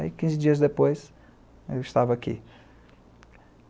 Aí, quinze dias depois, eu estava aqui.